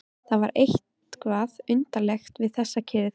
Það var eitthvað undarlegt við þessa kyrrð.